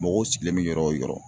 Mɔgɔw sigilen be yɔrɔ o yɔrɔ